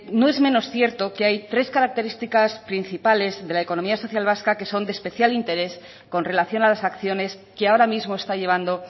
no es menos cierto que hay tres características principales de la economía social vasca que son de especial interés con relación a las acciones que ahora mismo está llevando